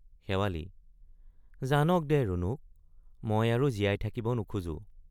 শেৱালি—জানক দে ৰণুক মই আৰু জীয়াই থাকিব নোখোজো।